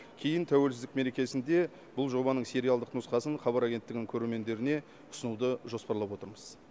кейін тәуелсіздік мерекесінде бұл жобаның сериалдық нұсқасын хабар агенттігінің көрермендеріне ұсынуды жоспарлап отырмыз